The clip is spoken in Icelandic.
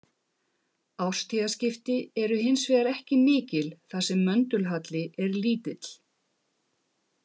Árstíðaskipti eru hins vegar ekki mikil þar sem möndulhalli er lítill.